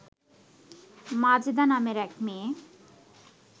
মাজেদা নামের এক মেয়ে